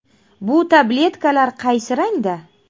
Bu tabletkalar qaysi rangda?.